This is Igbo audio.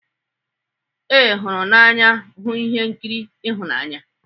Ee, hụrụ n'anya ịhụ ihe nkiri ịhụnanya